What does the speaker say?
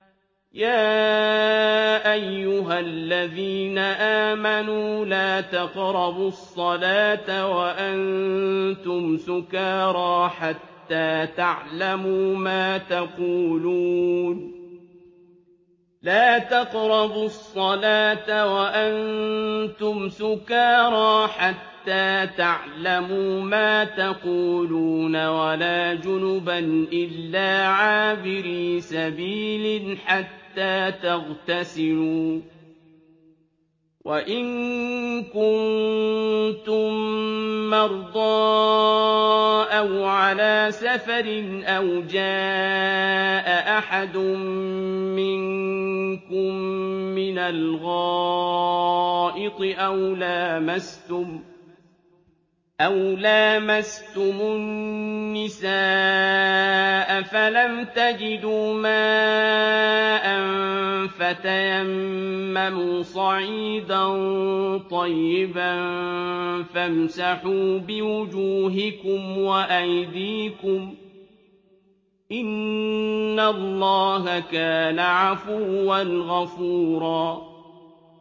يَا أَيُّهَا الَّذِينَ آمَنُوا لَا تَقْرَبُوا الصَّلَاةَ وَأَنتُمْ سُكَارَىٰ حَتَّىٰ تَعْلَمُوا مَا تَقُولُونَ وَلَا جُنُبًا إِلَّا عَابِرِي سَبِيلٍ حَتَّىٰ تَغْتَسِلُوا ۚ وَإِن كُنتُم مَّرْضَىٰ أَوْ عَلَىٰ سَفَرٍ أَوْ جَاءَ أَحَدٌ مِّنكُم مِّنَ الْغَائِطِ أَوْ لَامَسْتُمُ النِّسَاءَ فَلَمْ تَجِدُوا مَاءً فَتَيَمَّمُوا صَعِيدًا طَيِّبًا فَامْسَحُوا بِوُجُوهِكُمْ وَأَيْدِيكُمْ ۗ إِنَّ اللَّهَ كَانَ عَفُوًّا غَفُورًا